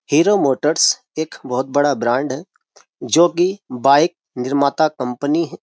Hero motors एक बहुत बड़ा ब्रांड है जो कि बाइक निर्माता कंपनी है।